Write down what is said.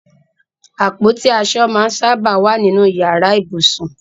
Apoti aso maa n saba wa ninu iyara ibusun